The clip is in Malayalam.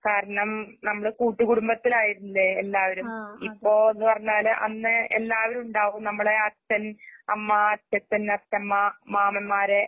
കാരണം നമ്മള്കൂട്ടുകുടുംബത്തിലായിരുല്ലേ എല്ലാവരും. ഇപ്പോന്നുപറഞ്ഞാല് അന്ന് എല്ലാവരുണ്ടാവും. നമ്മളെ അച്ഛൻ, അമ്മ, അച്ഛച്ചൻ, അച്ഛമ്മ, മാമന്മാരേ